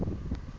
mkhokha